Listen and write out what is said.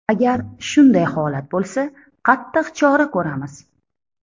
Agar shunday holat bo‘lsa, qattiq chora ko‘ramiz.